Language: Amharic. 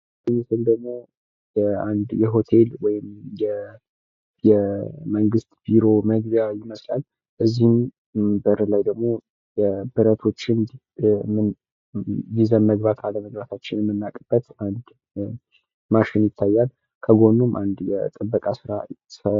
ይህ ምስል ደሞ የሆቴል ወይም የመንግስት ቢሮ መግቢያ ይመስላል። በዚህም በርላይ ደሞ ብረቶችን ይዘን መግባት አለመግባታችን የምናውቅበት አንድ ማሽን ይታያል። ከጎኑም አንድ የጥበቃ ስራተኛ ይታያል።